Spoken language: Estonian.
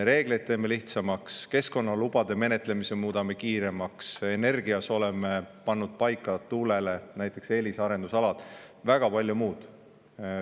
Reegleid teeme lihtsamaks, keskkonnalubade menetlemise muudame kiiremaks, energeetikas oleme pannud paika näiteks tuule eelisarendusalad, väga palju muud.